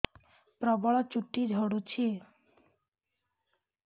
ପ୍ରବଳ ଚୁଟି ଝଡୁଛି